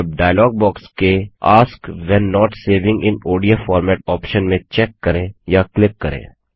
अब dialog box के ask when not saving in ODF format option में check करें या क्लिक करें